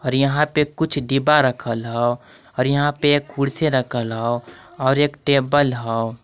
और यहां पे कुछ डिब्बा रखल हव और यहां पे एक कुर्सी रखल हव और एक टेबल हव।